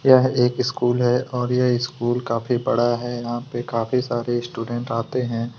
यह एक स्कुल हैं और यह स्कुल काफ़ी बड़ा हैं इसमें काफ़ी सारे स्टूडेंट आते हैं।